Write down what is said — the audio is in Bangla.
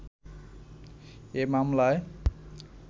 এ মামলায়